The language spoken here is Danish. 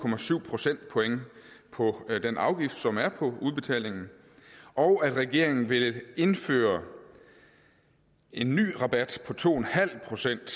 procentpoint på den afgift som er på udbetalingen og regeringen vil indføre en ny rabat på to procent